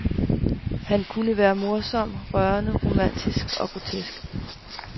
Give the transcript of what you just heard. Han kunne være morsom, rørende, romantisk og grotesk.